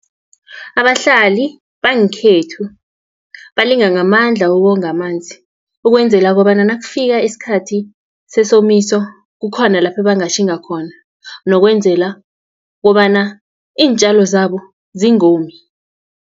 Abahlali bangekhethu balinga ngamandla ukonga amanzi, ukwenzela kobana nakufika isikhathi sesomiso, kukhona lapho bangatjhinga khona, nokwenzela kobana iintjalo zabo zingomi.